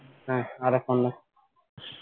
না আর এখন না